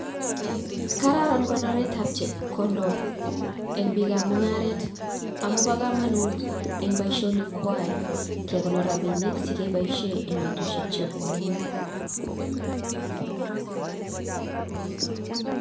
Kararan konoret ab chepkondok eng bik ab mung'aret sikobit keboishe eng bestushek chebwonei